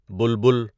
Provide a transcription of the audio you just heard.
بلبل